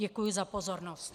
Děkuji za pozornost.